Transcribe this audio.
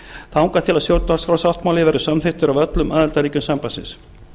þangað til stjórnarskrársáttmáli verður samþykktur af öllum aðildarríkjum sambandsins